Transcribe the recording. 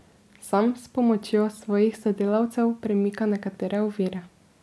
Sam s pomočjo svojih sodelavcev premika nekatere okvire.